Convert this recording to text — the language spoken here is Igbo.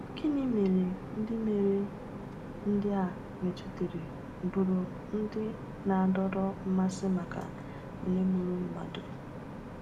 Gịnị mere ndị mere ndị a metụtara bụrụ ndị na-adọrọ mmasị maka onye gburu mmadụ?